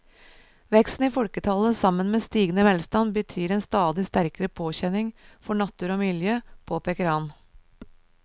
Veksten i folketallet sammen med stigende velstand betyr en stadig sterkere påkjenning for natur og miljø, påpeker han.